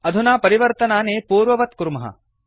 अधुना परिवर्तनानि पूर्ववत् कुर्मः